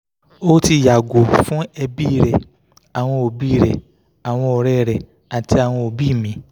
o ti yago fun ẹbi rẹ awọn obi rẹ awọn ọrẹ rẹ ati awọn obi mi